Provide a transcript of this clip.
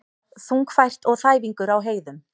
Þungfært og þæfingur á heiðum